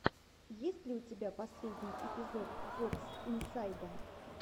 есть ли у тебя последний эпизод вотс инсайда